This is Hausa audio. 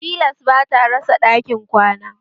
Tilas bata rasa ɗakin kwana